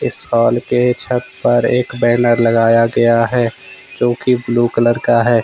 इस हॉल के छत पर एक बैनर लगाया गया है जो की ब्लू कलर का है।